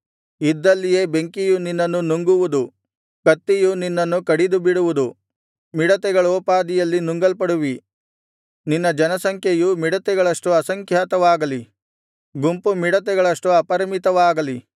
ಇದ್ದಲ್ಲಿಯೇ ಬೆಂಕಿಯು ನಿನ್ನನ್ನು ನುಂಗುವುದು ಕತ್ತಿಯು ನಿನ್ನನ್ನು ಕಡಿದುಬಿಡುವುದು ಮಿಡತೆಗಳೋಪಾದಿಯಲ್ಲಿ ನುಂಗಲ್ಪಡುವಿ ನಿನ್ನ ಜನಸಂಖ್ಯೆಯು ಮಿಡತೆಗಳಷ್ಟು ಅಸಂಖ್ಯಾತವಾಗಲಿ ಗುಂಪುಮಿಡತೆಗಳಷ್ಟು ಅಪರಿಮಿತವಾಗಲಿ